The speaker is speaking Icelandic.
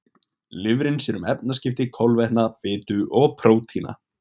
Lifrin sér um efnaskipti kolvetna, fitu og prótína.